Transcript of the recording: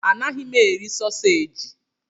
Anaghị m eri sausaji.